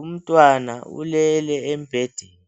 Umntwana ulele embhedeni.